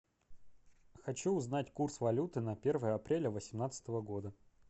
хочу узнать курс валюты на первое апреля восемнадцатого года